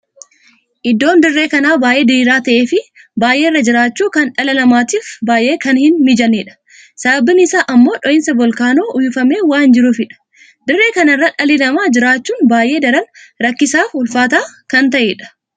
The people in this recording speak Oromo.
Iddoon dirree kan baay'ee diriiraa taheef baay'ee irraa jiraachuu kan dhala namaatiif baay'ee kan hin mijanneedha. sababiin isaa ammoo dho'insa volkaanoo uwwifamee waan jiruufidha. dirree kana irraa dhalli namaa jiraachuun baay'ee daran rakkisaaf ulfaata kan taheedha.